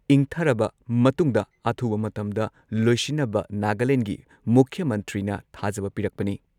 ꯏꯪꯊꯔꯕ ꯃꯇꯨꯡꯗ ꯑꯊꯨꯕ ꯃꯇꯝꯗ ꯂꯣꯏꯁꯤꯟꯅꯕ ꯅꯥꯒꯥꯂꯦꯟꯗꯒꯤ ꯃꯨꯈ꯭ꯌ ꯃꯟꯇ꯭ꯔꯤꯅ ꯊꯥꯖꯕ ꯄꯤꯔꯛꯄꯅꯤ ꯫